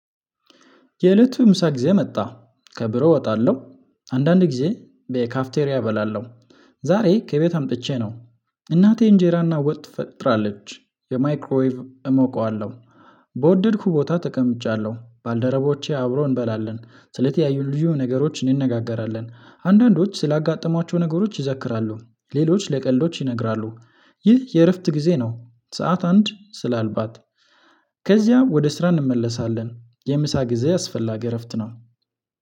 የእለቱ ምሳ ጊዜ መጣ ከብሮ እወጣለሁ። አንዳንድ ጊዜ በካፍቴሪያ እበላለሁ። ዛሬ ከቤት አምጥቼ ነው እናቴ እንጀራና ወጥ ትፈጥራለች በማይክሮዌቭ ኣሞቀዋለሁ። በወደድኩ ቦታ ተቀምጫለሁ ባልደረቦቼ አብሮ እንበላለን ስለተያዩልኝ ነገሮች እንነጋገራለን። አንዳንዶች ስላጋጠሟቸው ነገሮች ይዘክራሉ። ሌሎች ለቀልዶች ይነግራሉ። ይህ የእርፍት ጊዜ ነው። ሰዓት አንድ ስላልባት ከዚያ ወደ ስራ እንመለሳለን። የምሳ ጊዜ አስፈላጊ እረፍት ነው